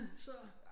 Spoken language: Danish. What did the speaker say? Så